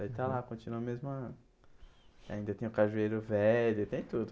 Daí, está lá, continua a mesma... Ainda tem o cajueiro velho, tem tudo.